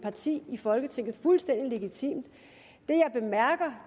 parti i folketinget det fuldstændig legitimt